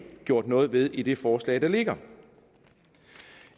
gjort noget ved i det forslag der ligger